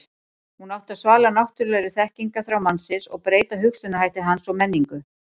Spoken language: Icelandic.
hún átti að svala náttúrulegri þekkingarþrá mannsins og breyta hugsunarhætti hans og menningu